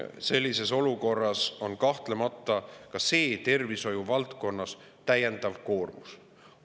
Sellises olukorras on kahtlemata ka see tervishoiuvaldkonnale täiendav koormus.